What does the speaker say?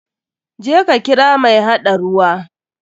Je ka kira mai haɗa ruwa.